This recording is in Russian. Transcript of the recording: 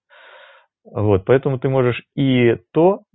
вот поэтому ты можешь и то